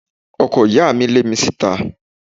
Ọkọ ìyá mi lé mi síta